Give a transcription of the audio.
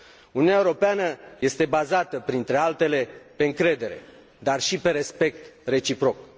Uniunea Europeană este bazată, printre altele, pe încredere, dar și pe respect reciproc.